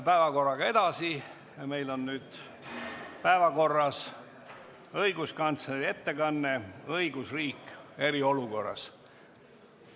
Nüüd on meil päevakorras õiguskantsleri ettekanne "Õigusriik eriolukorras".